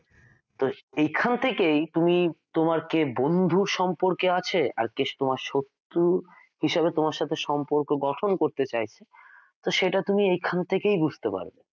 তো এখান থেকেই তুমি তোমার কে বন্ধু সম্পর্কে আছে আর কে তোমার শত্রু হিসেবে সম্পর্ক গঠন করতে চায় সেটা তুমি এখান থেকেই বুঝতে পারো